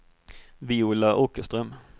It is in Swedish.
Viola Åkerström